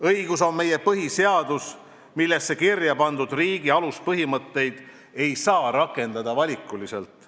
Õigus on meie põhiseadus, millesse kirja pandud riigi aluspõhimõtteid ei saa rakendada valikuliselt.